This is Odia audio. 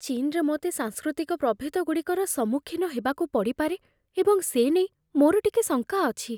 ଚୀନରେ ମୋତେ ସାଂସ୍କୃତିକ ପ୍ରଭେଦଗୁଡ଼ିକର ସମ୍ମୁଖୀନ ହେବାକୁ ପଡ଼ିପାରେ ଏବଂ ସେ ନେଇ ମୋର ଟିକେ ଶଙ୍କା ଅଛି ।